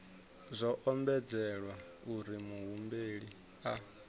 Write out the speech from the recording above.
zwo ombedzelwa uri muhumbeli a